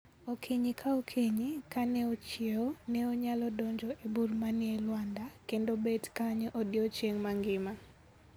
Okinyi ka okinyi, kane ochiewo, ne onyalo donjo e bur manie lwanda kendo bet kanyo odiechieng' mangima.